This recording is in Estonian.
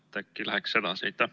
Äkki läheks edasi?